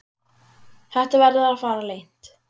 Þetta verður að fara leynt!